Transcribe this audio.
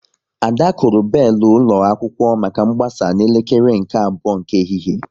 Ada kụrụ belu ụlọ akwụkwọ maka mgbasa n'elekere nke abụọ nke ehihie